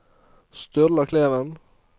Sturla Kleven